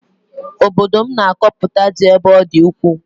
Obodo m na-akọpụta ji ebe ọ dị ukwuu